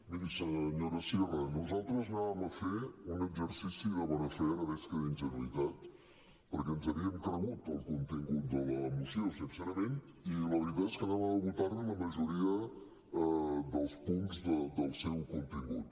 miri senyora sierra nosaltres anàvem a fer un exercici de bona fe ara veig que d’ingenuïtat perquè ens havíem cregut el contingut de la moció sincerament i la veritat és que anàvem a votar li la majoria dels punts del seu contingut